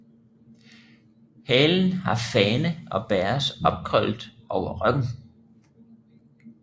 Halen har fane og bæres opkrøllet over ryggen